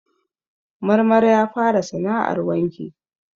Marmara ya fara sana'ar wanki.